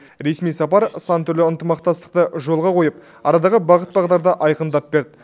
ресми сапар сан түрлі ынтымақтастықты жолға қойып арадағы бағыт бағдарды айқындап берді